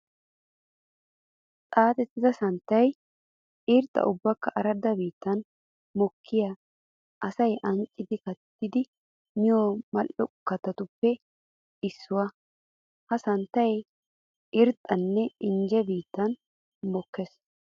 Xaaxettidda santtay irxxa ubbakka aradda biittan mokiya asay ancciddi kattiddi miyo mal'o kattatuppe issuwa. Ha santtay irxxanne injje biittan mokkees.